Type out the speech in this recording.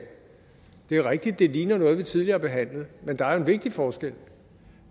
det er rigtigt at det ligner noget vi tidligere har behandlet men der er en vigtig forskel